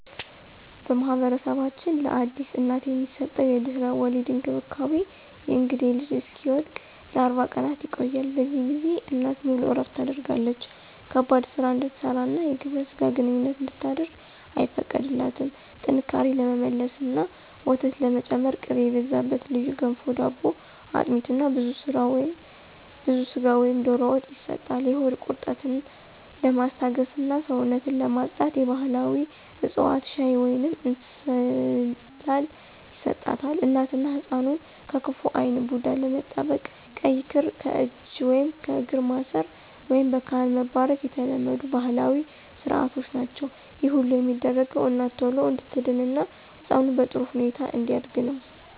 በማኅበረሰባችን ለአዲስ እናት የሚሰጠው የድህረ-ወሊድ እንክብካቤ (የእንግዴ ልጁ እስኪወድቅ) ለ40 ቀናት ይቆያል። በዚህ ጊዜ እናት ሙሉ እረፍት ታደርጋለች ከባድ ሥራ እንድትሠራና የግብረ ሥጋ ግንኙነት እንድታደርግ አይፈቀድላትም። ጥንካሬ ለመመለስና ወተት ለመጨመር ቅቤ የበዛበት ልዩ ገንፎ/ዳቦ፣ አጥሚት እና ብዙ ሥጋ ወይም ዶሮ ወጥ ይሰጣል። የሆድ ቁርጠትን ለማስታገስና ሰውነትን ለማፅዳት የባሕላዊ ዕፅዋት ሻይ ወይንም እንስላል ይሰጣታል። እናትና ሕፃኑን ከክፉ ዓይን (ቡዳ) ለመጠበቅ ቀይ ክር ለእጅ ወይም ለእግር ማሰር፣ ወይም በካህን መባረክ የተለመዱ ባሕላዊ ሥርዓቶች ናቸው። ይህ ሁሉ የሚደረገው እናት ቶሎ እንድትድንና ሕፃኑ በጥሩ ሁኔታ እንዲያድግ ነው።